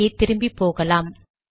இங்கே திரும்பி போகலாம்